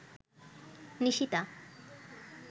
Nishita